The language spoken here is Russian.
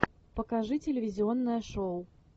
покажи телевизионное шоу